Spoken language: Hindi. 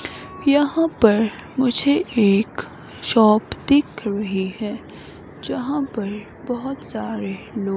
यहां पर मुझे एक शॉप दिख रही है जहां पर बहुत सारे लोग --